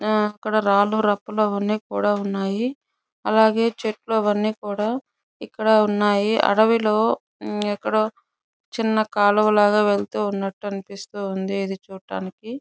ఆ అక్కడ రాళ్లు రప్పలు అవ్వని కూడా ఉన్నాయ్. ఆలాగే చెట్లు అవ్వని కూడా ఇక్కడ ఉన్నాయి. అడవులు ఎక్కడో చిన్న కాలువ లాగా వెళ్తున్నట్టు అనిపిస్తుంది ఇది చూట్టానికి.